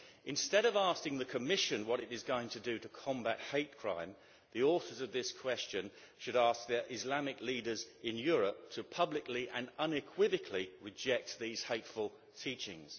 Instead of asking the Commission what it is going to do to combat hate crime, the authors of this question should ask the Islamic leaders in Europe to publicly and unequivocally reject these hateful teachings.